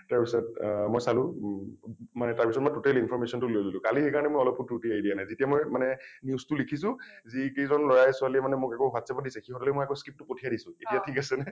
তাৰ পিছত অ মই চালো ম মই গোটেই information টো লৈ ললো । কালি সেইকাৰণে মই অলপো ত্ৰুটি এৰি দিয়া নাই । যেতিয়া মই মানে news টো লিখিছো যিকেইজন লৰাই ছোৱালীয়ে মোক এইবোৰ WhatsApp ত দিছে, সিহঁতলৈ আকৌ মই আকৌ script টো পঠিয়াই দিছোঁ , এতিয়া ঠিক আছেনে ?